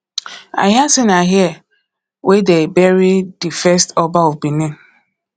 i hear say na here wey dey bury the first oba of benin